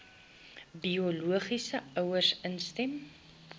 biologiese ouers instem